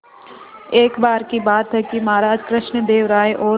एक बार की बात है कि महाराज कृष्णदेव राय और